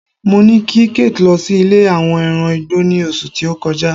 mo ni kí kate lo sí ilè àwọn ẹran igbó ni oṣù ti o kọjá